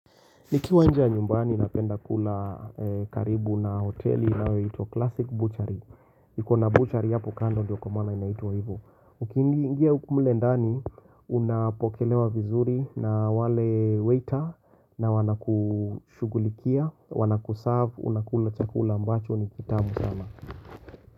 Niki nje ya nyumbani napenda kula karibu na hoteli inayoitwa Classic Butchery. Ikona butchery hapo kando ndio kumwana inaito hivo. Mkiingia mle ndani unapokelewa vizuri na wale waiter na wana kushugulikia, wana kuserve, unakula chakula ambacho ni kitamu sana.